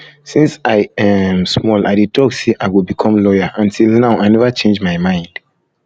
since i um small i dey talk say i go become lawyer and till now i never change my mind